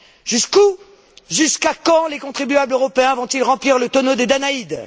Jusqu'où, jusqu'à quand les contribuables européens vont ils remplir le tonneau des Danaïdes?